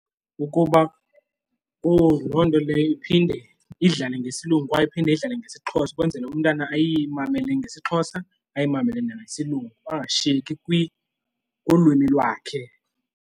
Ukuba loo nto leyo iphinde idlale ngesilungu kwaye iphinde idlale ngesiXhosa ukwenzela umntana ayimele ngesiXhosa amamele ngesilungu angashiyeki kulwimi lwakhe.